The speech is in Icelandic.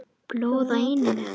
Blóð á enninu.